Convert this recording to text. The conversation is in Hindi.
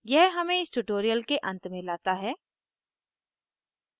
यह हमें इस tutorial के अंत में लाता है